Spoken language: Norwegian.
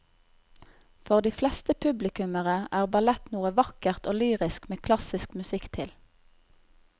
For de fleste publikummere er ballett noe vakkert og lyrisk med klassisk musikk til.